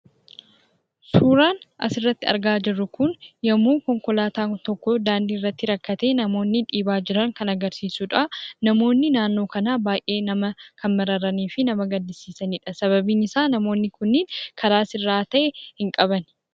Suuraan asirratti argaa jirru kun yommuu konkolaataan tokko daandiirratti rakkatee namoonni dhiibaa jiran kan agarsiisudha. Namoonni naannoo kanaa baay'ee kan nama mararanii fi nama gaddisiisanidha sababiin isaa namoonni kun karaa sirraayaa ta'e hin qaban.